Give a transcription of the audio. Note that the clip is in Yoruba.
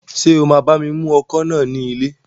Ṣé o máa bá mi mú ọkọ̀ náà ní ilẹ̀?